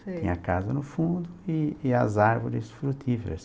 Sei. Tinha a casa no fundo e e as árvores frutíferas.